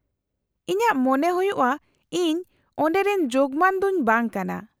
-ᱤᱧᱟᱹᱜ ᱢᱚᱱᱮ ᱦᱩᱭᱩᱜᱼᱟ ᱤᱧ ᱚᱸᱰᱮ ᱨᱮᱱ ᱡᱳᱜᱢᱟᱱ ᱫᱚᱧ ᱵᱟᱝ ᱠᱟᱱᱟ ᱾